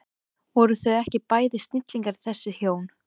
Voru þau ekki bæði snillingar þessi hjón?